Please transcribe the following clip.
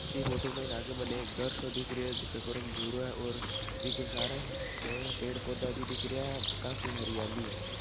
इस फोटो में लागे मने एक घर दिख हरियो है जिनको रंग भूरो है और बीके सारे पेड़ पोधा भी दिख रहिया है काफी हरियाली है।